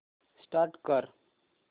restart कर